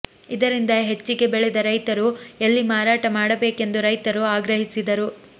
ಇದರಿಂದ ಹೆಚ್ಚಿಗೆ ಬೆಳೆದ ರೈತರು ಎಲ್ಲಿ ಮಾರಾಟ ಮಾಡಬೇಕೆಂದು ರೈತರು ಆಗ್ರಹಿಸಿದರು